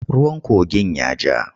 Ruwan kogin ya ja.